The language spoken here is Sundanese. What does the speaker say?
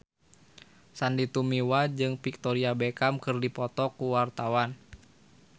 Sandy Tumiwa jeung Victoria Beckham keur dipoto ku wartawan